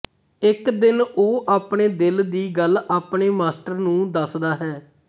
ਇੱਕ ਦਿਨ ਉਹ ਆਪਣੇ ਦਿਲ ਦੀ ਗੱਲ ਆਪਣੇ ਮਾਸਟਰ ਨੂੰ ਦੱਸਦਾ ਹੈ